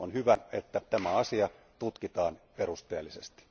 On hyvä, että tämä asia tutkitaan perusteellisesti.